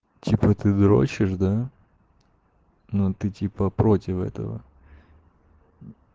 типа ты дрочишь да ну ты типа против этого